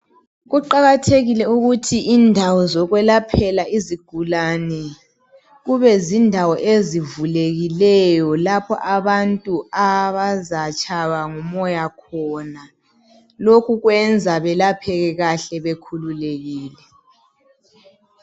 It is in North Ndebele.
Kuqakathekile ukuthi indawo zokwelaphela izigulane, kube zindawo ezivulekileyo lapho abantu abazatshaywa ngumoya khona. Lokhu kwenza belapheke kahle bekhululekile